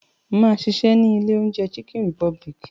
Máa ṣiṣẹ́ ní ilé oúnjẹ Chicken republic.